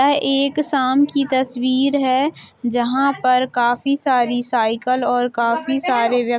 यह एक शाम कि तस्वीर है जहाँ पर काफी सारी साइकिल और काफी सारे व्यक्ति --